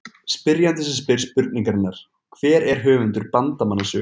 Spyrjandi sem spyr spurningarinnar Hver er höfundur Bandamanna sögu?